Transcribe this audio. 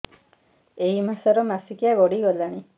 ଏଇ ମାସ ର ମାସିକିଆ ଗଡି ଗଲାଣି